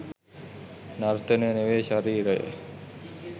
නර්තනය නෙවෙයි ශරීරය.